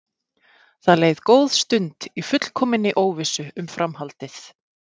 Það leið góð stund í fullkominni óvissu um framhaldið.